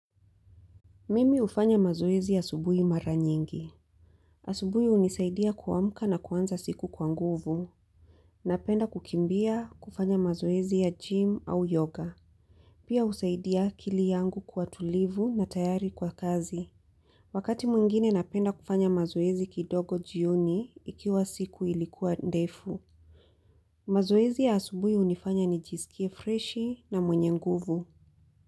Mimi hufanya mazoezi asubuhi mara nyingi. Asubuhi hunisaidia kuamka na kuanza siku kwa nguvu. Napenda kukimbia kufanya mazoezi ya gym au yoga. Pia husaidia akili yangu kwa tulivu na tayari kwa kazi. Wakati mwingine napenda kufanya mazoezi kidogo jioni ikiwa siku ilikuwa ndefu. Mazoezi ya asubuhi hunifanya nijiskie freshi na mwenye nguvu.